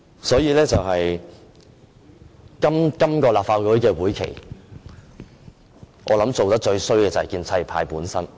所以，今個立法會會期，我想做得最差的便是建制派本身。